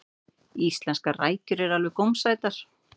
íslenskar rækjur eru alveg gómsætar